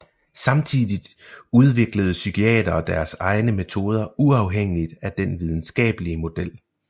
Samtidigt udviklede psykiatere deres egne metoder uafhængigt af den videnskabelige model